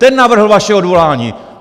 Ten navrhl vaše odvolání!